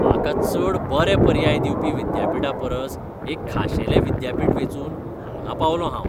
म्हाका चड बरे पर्याय दिवपी विद्यापीठा परस एक खाशेलें विद्यापीठ वेंचून हांगां पावलों हांव.विद्यार्थी